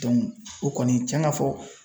o kɔni cɛn ka fɔ